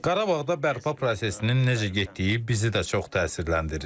Qarabağda bərpa prosesinin necə getdiyi bizi də çox təsirləndirir.